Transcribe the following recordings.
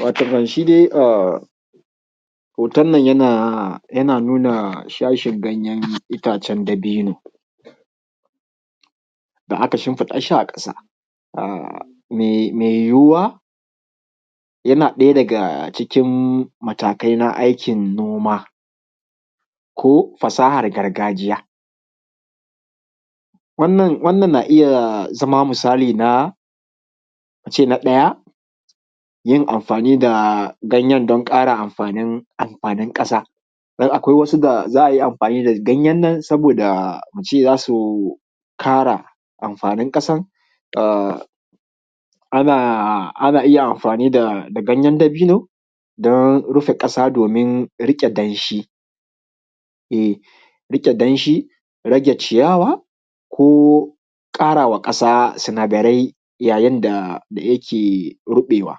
Watakan shi dai hoton nan yana nuna shashin ganyen itacen dabino da aka shinfiɗa shi a ƙasa mai yiwuwa yana ɗaya daga cikin matakai na aikin noma ko fasahar gargajiya. Wannan na iya zama misali na a ce na ɗaya yin amfani da ganyen don ƙara amfanin ƙasa don akwai wasu za a iya amfani da ganyen nan saboda a ce za su ƙara amfanin ƙasan. Ana iya amfani da ganyan dabino don rufe ƙasa domin riƙe danshi, rage ciyawa, ko ƙarawa ƙasa sinadarai yayin da yake ruɓewa.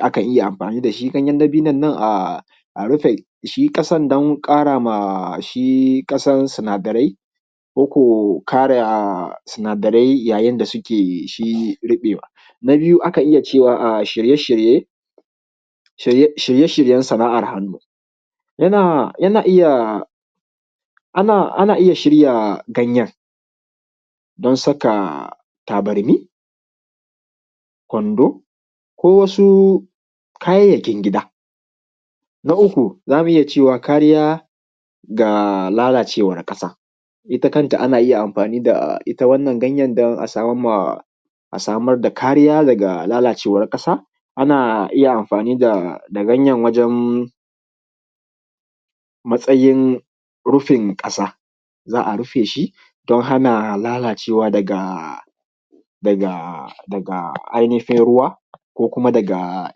Akan iya amfani da shi ganyan dabinon nan a rufe shi ƙasan don ƙara ma shi ƙasan sinadarai ko ko ƙara sinadarai yayin da suke shi riɓewa. Na biyu akan iya cewa shirye shiryen sana’ar hannu ana iya shirya ganyen don saƙa tabarmi, kwando, ko wasu kayyakin gida. Na uku za mu iya cewa kariya ga lalacewan ƙasa ita kanta ana iya amfani da ita wannan ganyen don a samar da kariya daga lalacewan ƙasa. Ana iya amfani da ganyen wajen matsayin rufin ƙasa za a rufe shi don hana lalacewa daga ainihin ruwa ko kuma daga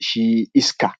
shi iska.